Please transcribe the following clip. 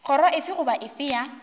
kgoro efe goba efe ya